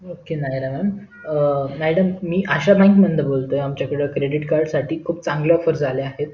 okay madam um madam मी Asha bank मधुन बोलतोय आमच्याकडे credit card साठी खुप चांगल्या offers आल्या आहेत